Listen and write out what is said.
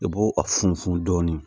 I b'o a funfun dɔɔni